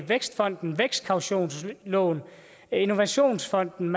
vækstfonden vækstkautionslån innovationsfonden